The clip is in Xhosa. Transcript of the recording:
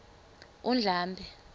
undlambe